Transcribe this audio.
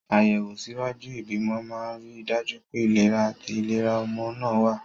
Àyẹ̀wò ṣíwájú ìbímọ máa ń rí i dájú pé ìlera àti ìlera ọmọ náà wà.